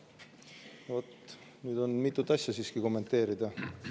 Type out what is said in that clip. Vot, nüüd on siiski mitut asja kommenteerida.